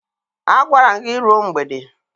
Agwara m gị ruo mgbede!